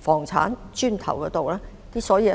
房產上。